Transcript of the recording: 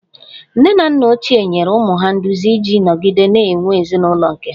Nne na nna ochie nyere ụmụ ha nduzi iji nọgide na-enwe ezinụlọ nke ha